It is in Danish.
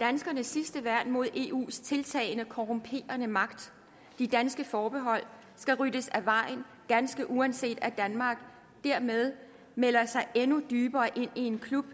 danskernes sidste værn mod eus tiltagende korrumperende magt de danske forbehold skal ryddes af vejen ganske uanset at danmark dermed melder sig endnu dybere ind i en klub